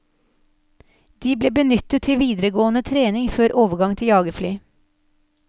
De ble benyttet til videregående trening før overgang til jagerfly.